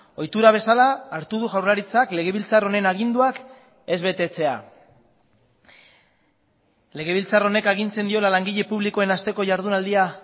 ohitura bezala hartu du jaurlaritzak legebiltzar honen aginduak ez betetzea legebiltzar honek agintzen diola langile publikoen asteko jardunaldia